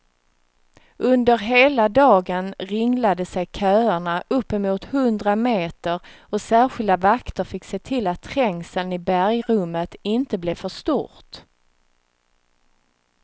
Under hela dagen ringlade sig köerna uppemot hundra meter och särskilda vakter fick se till att trängseln i bergrummet inte blev för stort.